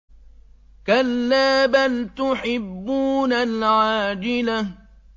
كَلَّا بَلْ تُحِبُّونَ الْعَاجِلَةَ